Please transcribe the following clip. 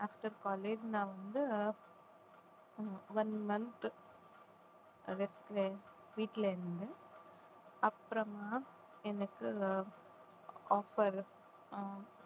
after college நான் வந்து உம் one month வீட்டுல இருந்தேன் அப்புறமா எனக்கு ஆஹ் offer ஆஹ்